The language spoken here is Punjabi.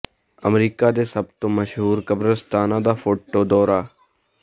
ਅਮਰੀਕਾ ਦੇ ਸਭ ਤੋਂ ਮਸ਼ਹੂਰ ਕਬਰਸਤਾਨਾਂ ਦਾ ਫੋਟੋ ਦੌਰਾ